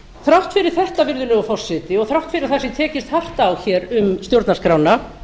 þrátt fyrir þetta virðulegur forseti og þátt fyrir að það sé tekist hart á hér um stjórnarskrána